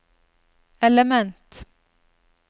element